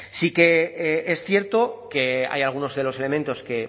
sí que es cierto que hay alguno de los elementos que